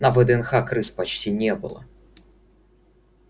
на вднх крыс почти не было